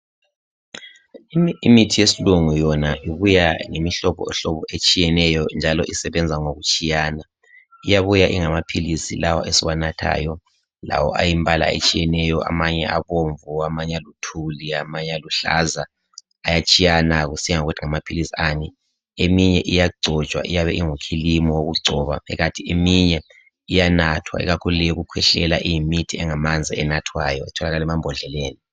Imithi yesilungu yona ibuya ngemihlobohlobo etshiyeneyo njalo isebenza ngokutshiyana. Iyabuya ingamaphilisi lawa esiwanathayo, lawo ayimbala etshiyeneyo, amanye abaomvu, amanye aluthuli, amanye aluhlaza, ayatshiyana kusiya ngokuthi ngamaphilisi ani. Eminye iyagcotshwa, iyabe ingufilimu wokugcoba, eminye iyanathwa, ikakhulu eyokukhwehlela, iyimithi engamanzi enathwayo etholakala emambhodleleni.